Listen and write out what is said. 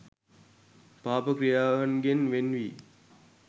පාප ක්‍රියාවන්ගෙන් වෙන් වී